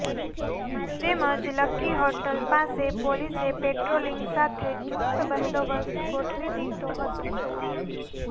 તેમજ Lucky Hotel પાસે પોલીસે પેટ્રોલિંગ સાથે ચૂસ્ત બંદોબસ્ત ગોઠવી દીધો હતો